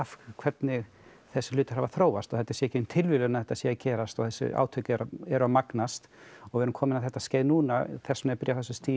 hvernig þessir hlutir hafa þróast og þetta sé ekki nein tilviljun að þetta sé að gerast og þessi átök eru að magnast og við erum komin á þetta skeið núna þess vegna er byrjað á